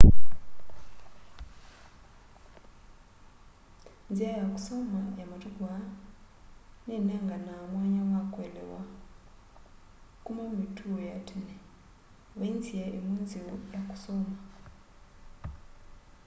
nzĩa ya kũsoma ya matũkũ aa nĩnenganaa mwanya wa kũelewa kũma mĩtũo ya tene vaĩ nzĩa ĩmwe nzeo ya kũsoma